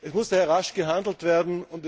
Es muss daher rasch gehandelt werden.